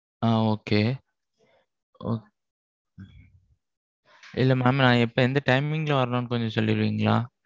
ஆஹ் Okay. ஒ இல்ல mam நான் எப்போ எந்த timing ல வரணும்னு கொஞ்சம் சொல்றீங்களா?